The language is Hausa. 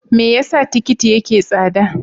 Me yasa tikiti yake tsada?